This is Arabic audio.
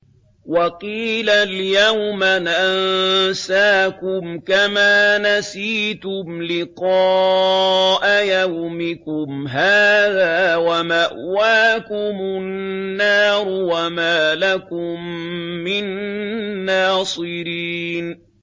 وَقِيلَ الْيَوْمَ نَنسَاكُمْ كَمَا نَسِيتُمْ لِقَاءَ يَوْمِكُمْ هَٰذَا وَمَأْوَاكُمُ النَّارُ وَمَا لَكُم مِّن نَّاصِرِينَ